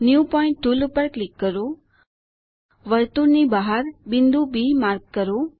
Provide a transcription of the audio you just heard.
new point tool પર click કરો વર્તુળની બહાર બિંદુ બી માર્ક કરો